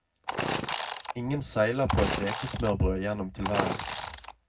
Ingen seiler på et rekesmørbrød gjennom tilværelsen.